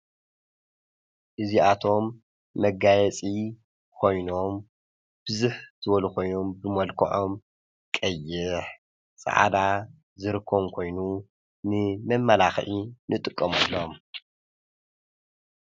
ንጥቀመሎም መጋየፂ ኮይኖም ብዝሕ ዝበሉ ኮይኖም መልከዖም ቀይሕ፣ ፃዕዳ ዝርከቦም ኮይኑ ንመማላክዒ ንጥቀመሎም።